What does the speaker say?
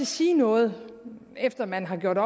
sige noget efter at man gjort